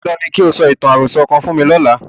Dandan ni kí o sọ ìtàn àròsọ kan fún mi lọ́la.